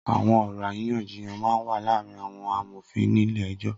Awọn ọrọ àrínyànjíyàn mà n wà làárin awọn àmófín nilé ẹjọ